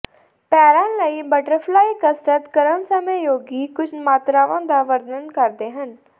ਪੈਰਾਂ ਲਈ ਬਟਰਫਲਾਈ ਕਸਰਤ ਕਰਨ ਸਮੇਂ ਯੋਗੀ ਕੁਝ ਮਾਤਰਾਵਾਂ ਦਾ ਵਰਣਨ ਕਰਦੇ ਹਨ